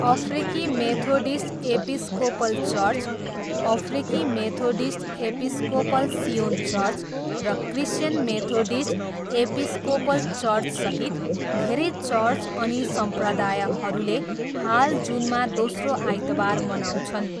अफ्रिकी Methodist Episcopal church, अफ्रिकी Methodist Episcopal Zion church र क्रिस्चियन मेथोडिस्ट एपिस्कोपल चर्चसहित धेरै चर्च अनि सम्प्रदायहरूले हाल जुनमा दोस्रो आइतबार मनाउँछन्।